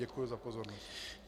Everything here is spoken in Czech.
Děkuji za pozornost.